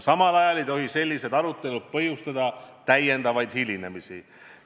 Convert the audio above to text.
Samal ajal ei tohi sellised arutelud põhjustada uusi hilinemisi.